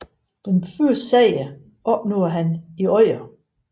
Den første sejr opnåede han i Odder